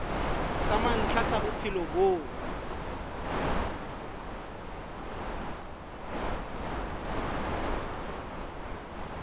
sa mantlha sa bophelo bo